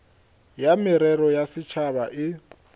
ya merero ya setšhaba e